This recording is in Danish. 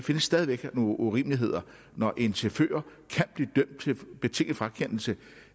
stadig væk nogle urimeligheder når en chauffør kan blive dømt til betinget frakendelse